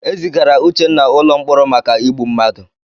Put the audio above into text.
E zigara Uchenna ụlọ mkpọrọ maka igbu mmadụ.